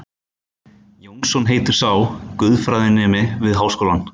Jónsson heitir sá, guðfræðinemi við Háskólann.